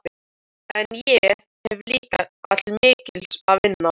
En ég hef líka til mikils að vinna.